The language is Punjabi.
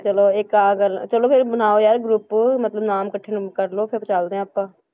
ਚਲੋ ਇੱਕ ਆਹ ਗੱਲ, ਚਲੋ ਫਿਰ ਬਣਾਓ ਯਾਰ group ਮਤਲਬ ਨਾਮ ਇਕੱਠੇ ਕਰ ਲਓ ਫਿਰ ਚੱਲਦੇ ਹਾਂ ਆਪਾਂ